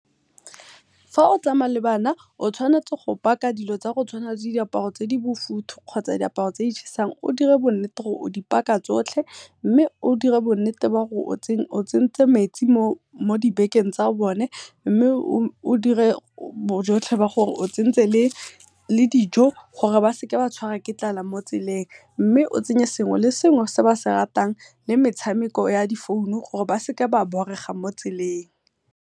Fa o tsamaya le bana o tshwanetse go paka dilo tsa go tshwana le diaparo tse di bofuthu kotsa diaparo tse di chesang, o dire bo nnete ba gore o di paka tsotlhe. Mme o dire bo nnete ba gore o tsentse metsi mo dibekeng tsa bone o dire le bojotlhe ba gore o tsentse le dijo, gore ba seka ba tshwarwa ke tlala mo tseleng. Mme o tsenye sengwe le sengwe se ba se ratang le metshameko ya di founu gore ba seka ba borega mo tseleng.